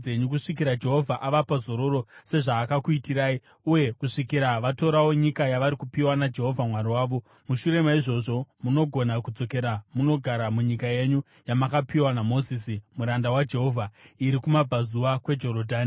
kusvikira Jehovha avapa zororo, sezvaakakuitirai, uye kusvikira vatorawo nyika yavari kupiwa naJehovha Mwari wavo. Mushure maizvozvo, munogona kudzokera munogara munyika yenyu, yamakapiwa naMozisi muranda waJehovha iri kumabvazuva kweJorodhani.”